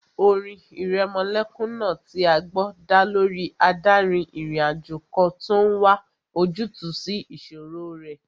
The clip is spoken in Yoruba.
Orin ìrẹmọlẹ́kún náà tí a gbọ́ dá lórí adárin-ìrìnàjò kan tó n wá ojútùú sí ìṣòro rẹ̀